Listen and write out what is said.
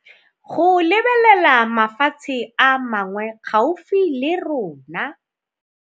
Go lebelela mafatshe a mangwe gaufi le rona.